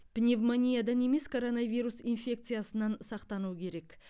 пневмониядан емес коронавирус инфекциясынан сақтану керек